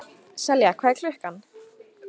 Selja, hvað er klukkan?